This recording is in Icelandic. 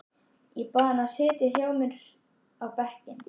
Ég bað hann að setjast hjá mér á bekkinn.